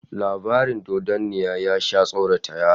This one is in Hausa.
Labarin dodanniya ya sha tsorata yara